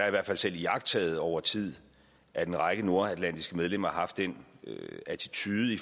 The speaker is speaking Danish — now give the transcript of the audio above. i hvert fald selv iagttaget over tid at en række nordatlantiske medlemmer har haft den attitude i